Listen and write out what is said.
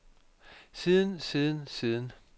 siden siden siden